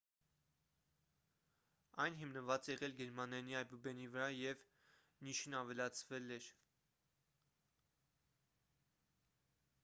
այն հիմնված է եղել գերմաներենի այբուբենի վրա և »õ/õ» նիշն ավելացվել էր: